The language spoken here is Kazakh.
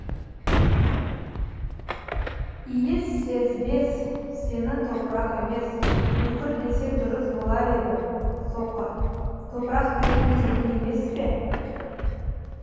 иіссезбес сені топырақ емес бүкір десе дұрыс болар еді соқыр топырақ деген тегін емес пе